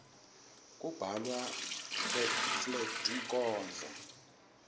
kubhalwa fletinkhondro